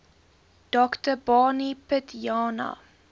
dr barney pityana